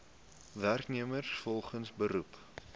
werknemers volgens beroep